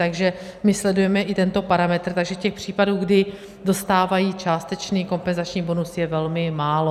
Takže my sledujeme i tento parametr, takže těch případů, kdy dostávají částečný kompenzační bonus, je velmi málo.